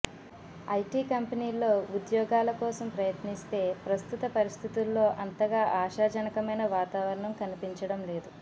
IT కంపెనీల్లో ఉద్యోగాల కోసం ప్రయత్నిస్తే ప్రస్తుత పరిస్థితుల్లో ఆంతగా ఆశాజనకమైన వాతావరణం కన్పించడం లేదు